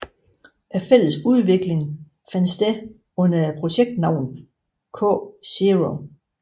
Den fælles udvikling fandt sted under projektnavnet KZéro